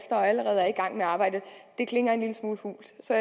og allerede er i gang med arbejdet klinger en lille smule hult så